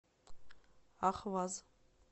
ахваз